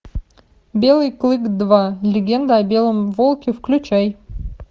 белый клык два легенда о белом волке включай